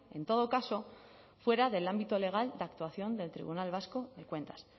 en todo caso fuera del ámbito legal de actuación del tribunal vasco de cuentas